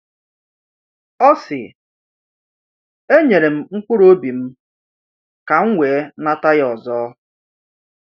Ọ sị, “E nyere m mkpụrụ obi m, ka m wee nata ya ọzọ.”